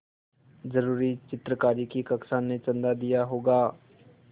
ज़रूर चित्रकारी की कक्षा ने चंदा किया होगा